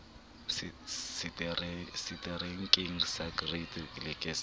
seterekeng sa great lakes re